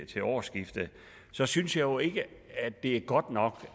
til årsskiftet jeg synes jo ikke det er godt nok